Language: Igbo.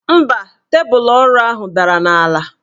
Mba, tebụl ọrụ ahụ dara n' ala.